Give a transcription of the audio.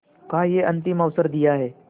का यह अंतिम अवसर दिया है